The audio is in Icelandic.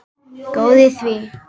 Góð í því!